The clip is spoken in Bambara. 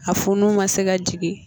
A funu ma se ka jigin